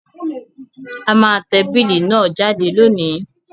A má te bill náà jáde lónìí